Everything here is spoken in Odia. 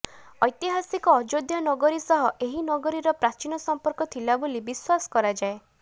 ଐତିହାସିକ ଅଯୋଧ୍ୟା ନଗରୀ ସହ ଏହି ନଗରୀର ପ୍ରାଚୀନ ସଂପର୍କ ଥିଲା ବୋଲି ବିଶ୍ୱାସ କରାଯାଏ